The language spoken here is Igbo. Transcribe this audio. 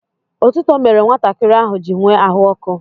Otuto mere nwatakịrị ahụ ji nwee ahụ ọkụ.